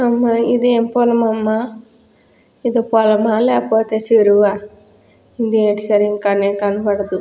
ఇదేం పొలమమ్మ. ఇది పొలమా లేకపోతే చెరువా. ఇదేంటి సరింగా కనే కనబడదు.